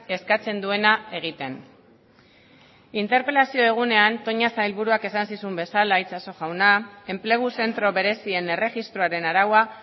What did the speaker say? eskatzen duena egiten interpelazio egunean toña sailburuak esan zizun bezala itxaso jauna enplegu zentro berezien erregistroaren araua